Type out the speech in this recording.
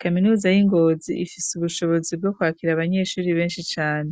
Kaminuza y'i Ngozi ifise ubushobozi bwo kwakira abanyeshuri benshi cane.